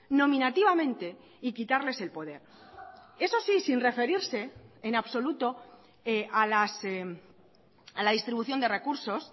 nominativamente y quitarles el poder eso sí sin referirse en absoluto a la distribución de recursos